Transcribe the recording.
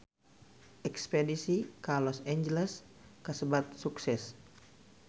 Espedisi ka Los Angeles kasebat sukses